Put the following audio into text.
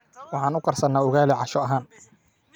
Waxaan ukarsanaa ugaali casho ahaan